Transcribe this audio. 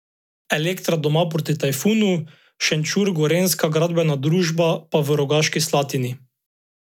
Elektra doma proti Tajfunu, Šenčur Gorenjska gradbena družba pa v Rogaški Slatini.